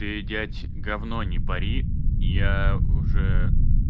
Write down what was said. ты дядь говно не пори я уже